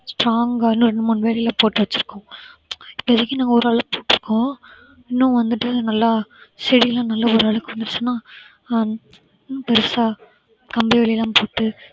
strong ஆ இன்னும் ரெண்டு மூணு வேலி எல்லாம் போட்டு வெச்சிருக்கோம் இப்போதைக்கு நாங்க ஓரளவுக்கு போட்டிருக்கோம் இன்னும் வந்துட்டு நல்லா செடியெல்லாம் நல்லா ஒரளவுக்கு வந்துடுச்சுனா ஹம் இன்னும் பெருசா கம்பி வேலியெல்லாம் போட்டு